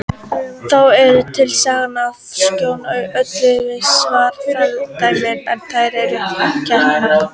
Þá eru til sagnir af skóla að Völlum í Svarfaðardal en þær eru hæpnar.